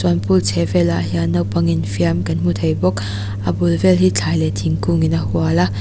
an pool chhehvel ah hian naupang infiam kan hmu thei bawk a bul vel hi thlai leh thingkung in a hual a.